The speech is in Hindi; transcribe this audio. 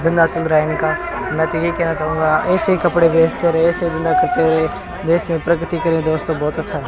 धंधा चल रहा है इनका मै तो ये कहना चाहूंगा ऐसे कपड़े बेचते रहे ऐसे ही धंधा करते रहे देश में प्रगति करे दोस्तों बहोत अच्छा --